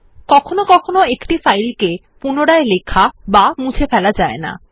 কখনও কখনও একটি ফাইল রাইট প্রটেক্টেড থাকে